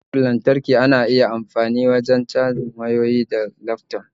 Cajar lantarki ana amfani da ita wurin cajin wayyoyi da laftop